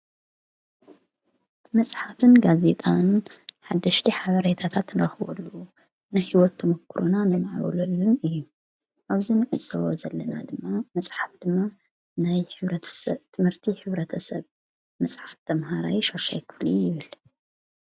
መፅሓፍን ጋዜጣን ሓድሽቲ ሓበሬታታት ንረክበሉ ንሕይወት ተሞክሮና ነማዕብለሉ እዩ። ኣብዚ ንዕዘቦ ዘለና ድማ መፅሓፍ ድማ ናይ ሕብረተሰብ ትምህርቲ ሕብረተሰብ መፅሓፍ ተምሃራይ ሸድሻይ ክፍሊ ይብል።